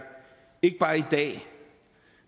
ikke bare i dag